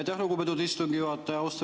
Aitäh, lugupeetud istungi juhataja!